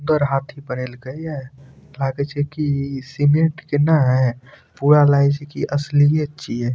सुंदर हाथी बनेलके या लागे छै कि सीमेंट के न पूरा लागे छै कि असली छिये।